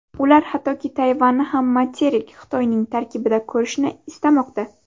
Ular hattoki Tayvanni ham materik Xitoyning tarkibida ko‘rishni istamoqda.